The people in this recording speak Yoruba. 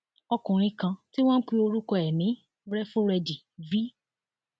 ọkùnrin kan tí wọn pe orúkọ ẹ ní réfúrẹdì v